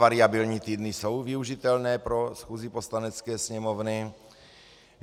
Variabilní týdny jsou využitelné pro schůzi Poslanecké sněmovny.